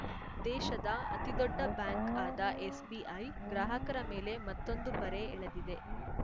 ದೇಶದ ಅತಿದೊಡ್ಡ ಬ್ಯಾಂಕ್‌ ಆದ ಎಸ್‌ಬಿಐ ಗ್ರಾಹಕರ ಮೇಲೆ ಮತ್ತೊಂದು ಬರೆ ಎಳೆದಿದೆ